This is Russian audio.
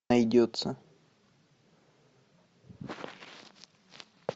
найдется